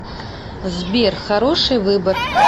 сбер хороший выбор